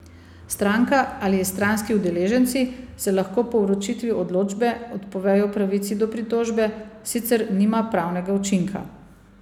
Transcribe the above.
Stranka ali stranski udeleženci se lahko po vročitvi odločbe odpovejo pravici do pritožbe, sicer nima pravnega učinka.